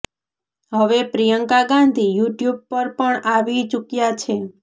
હવે પ્રિયંકા ગાંધી યુટ્યુબ પર પણ આવી ચુક્યા છે